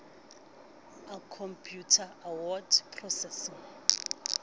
a khompeuta a word processing